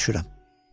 Başa düşürəm.